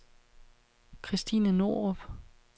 Christine Norup